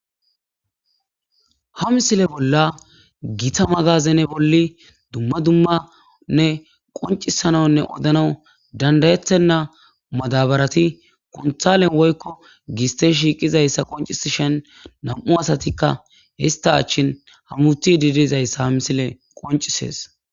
ha misile bolla gita magazene bolli dumma dummanne qoncisananne odanau dandayettenna madabarati konthalen woykko giste shiiqizayssa qoncisishen nam7u asatikka hista achchin hamuti didizayssa ha misile qoncisees